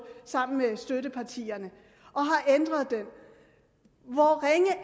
sammen med støttepartierne og